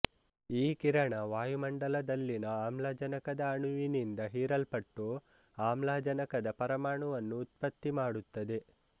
ಈ ಕಿರಣ ವಾಯುಮಂಡಲದಲ್ಲಿನ ಆಮ್ಲಜನಕದ ಅಣುವಿನಿಂದ ಹೀರಲ್ಪಟ್ಟು ಆಮ್ಲಜನಕದ ಪರಮಾಣುವನ್ನು ಉತ್ಪತ್ತಿಮಾಡುತ್ತದೆ